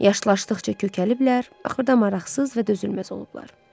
Yaşlaşdıqca kökəliblər, axırda maraqsız və dözülməz olublar.